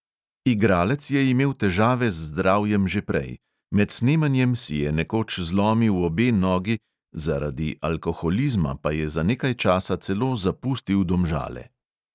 Igralec je imel težave z zdravjem že prej: med snemanjem si je nekoč zlomil obe nogi, zaradi alkoholizma pa je za nekaj časa celo zapustil domžale.